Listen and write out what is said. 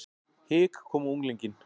Hik kom á unglinginn.